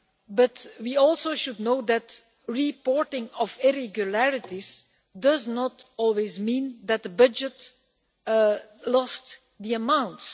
But we also should know that reporting of irregularities does not always mean that the budget lost the amounts.